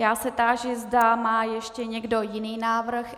Já se táži, zda má ještě někdo jiný návrh.